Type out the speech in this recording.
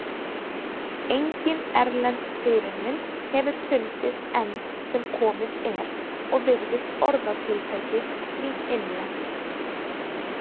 Engin erlend fyrirmynd hefur fundist enn sem komið er og virðist orðatiltækið því innlent.